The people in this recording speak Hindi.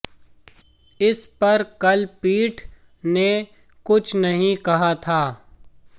इस पर कल पीठ ने कुछ नहीं कहा था